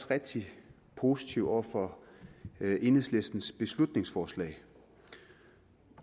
rigtig positive over for enhedslistens beslutningsforslag